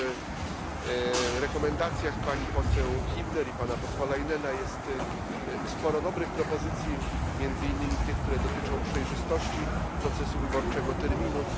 W zaleceniach pani poseł Hübner i pana posła Leinena jest sporo dobrych propozycji, między innymi te, które dotyczą przejrzystości procesu wyborczego, terminów.